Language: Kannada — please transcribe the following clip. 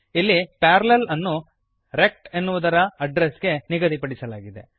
ಇಲ್ಲಿ ಪ್ಯಾರಲ್ಲೆಲ್ ಅನ್ನು ರೆಕ್ಟ್ ಎನ್ನುವುದರ ಅಡ್ಡ್ರೆಸ್ ಗೆ ನಿಗದಿಪಡಿಸಲಾಗಿದೆ